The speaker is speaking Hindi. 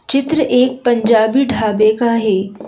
चित्र एक पंजाबी ढाबे का है।